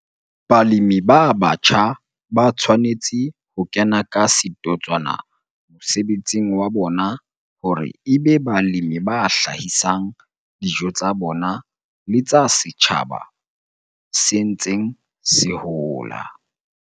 Balemi ba batjha ba tshwanetse ho kena ka setotswana mosebetsing wa bona hore e be balemi ba hlahisang dijo tsa bona le tsa setjhaba se ntseng se hola.